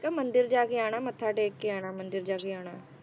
ਮੇਂ ਕਿਹਾ ਕਿ ਮੰਦਿਰ ਜਾ ਕੇ ਆਣਾ ਮੱਥਾ ਟੇਕ ਕੇ ਆਣਾ ਮੰਦਿਰ ਜਾ ਕੇ ਆਣਾ